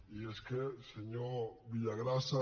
i és que senyor villagrasa